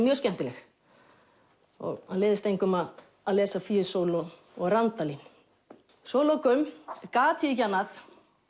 mjög skemmtileg það leiðist engum að að lesa og Randalín svo að lokum gat ég ekki annað